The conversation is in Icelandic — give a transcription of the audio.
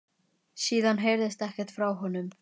Síðan heyrðist ekkert frá honum